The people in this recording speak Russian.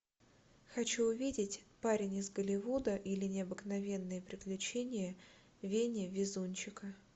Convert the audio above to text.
хочу увидеть парень из голливуда или необыкновенные приключения вени везунчика